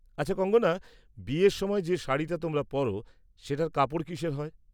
আচ্ছা কঙ্গনা, বিয়ের সময় যে শাড়িটা তোমরা পর, সেটার কাপড় কিসের হয়?